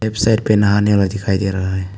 एक साइड पे नहाने वाला दिखाई दे रहा है।